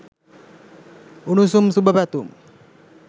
උණුසුම් සුබ පැතුම්.